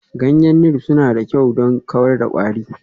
Ganyen Neem suna da kyau don kawar da kwari.